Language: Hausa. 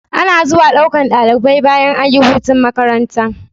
Ana zuwa ɗaukan ɗalibai bayan ayi hutun makaranta